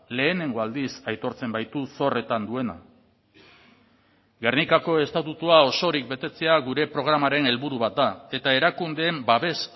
lehenengo aldiz aitortzen baitu zorretan duena gernikako estatutua osorik betetzea gure programaren helburu bat da eta erakundeen babes